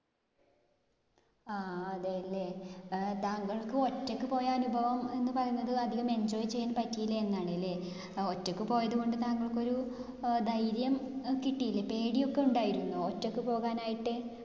ആഹ് അതേലെ. ഏർ താങ്കൾക്ക് ഒറ്റക്ക് പോയ അനുഭവം എന്ന് പറഞ്ഞത് അധികം enjoy ചെയ്യാൻ പറ്റീല എന്നാണല്ലേ. അഹ് ഒറ്റക്ക് പോയതുകൊണ്ട് താങ്കൾക്കൊരു അഹ് ധൈര്യം കിട്ടീലെ? പേടിയൊക്കെ ഉണ്ടായിരുന്നോ ഒറ്റക്ക് പോകാനായിട്ട്?